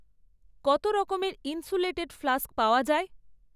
কত রকমের insulated flask পাওয়া যায়?